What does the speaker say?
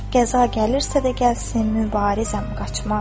Qəza gəlirsə də gəlsin, mübarizəm qaçmaram.